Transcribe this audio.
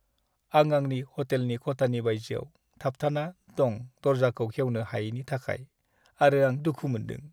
आं आंनि हटेलनि खथानि बायजोआव थाबथाना दं दरजाखौ खेवनो हायिनि थाखाय आरो आं दुखु मोन्दों।